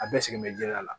A bɛɛ sigilen bɛ jɛgɛ la